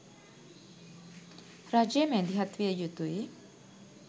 රජය මැදිහත් විය යුතුයි.